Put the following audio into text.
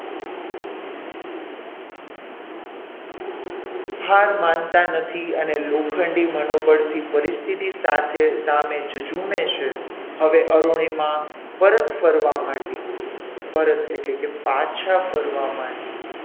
હાર માનતા નથી અને લોખંડી મનોબળથી પરિસ્થિતિ સાથે સામે જજુમે છે હવે અરુણિમા પરત ફરવા માંડી પરત એટલે કે પાછા ફરવા માંડી.